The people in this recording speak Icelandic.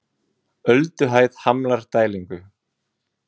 Ölduhæð hamlar dælingu